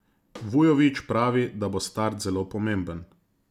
Vujović pravi, da bo start zelo pomemben.